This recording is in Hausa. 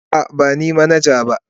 A'a, ba ni manaja ba.